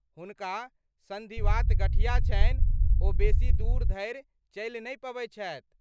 हुनका सन्धिवात गठिया छनि, ओ बेसी दूर धरि चलि नहि पबैत छथि।